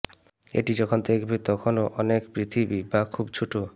এটি যখন দেখবে তখনও অনেক পৃথিবী বা খুব ছোট